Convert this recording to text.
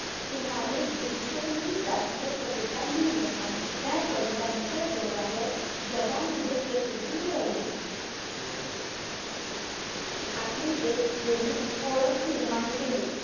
सुमारे दीडशेहून जास्त कविता लिहिल्या. आणि त्या कवितांच्या जोरावर जगामध्ये प्रसिद्धी मिळवली. आपली एक ओळख निर्माण केली.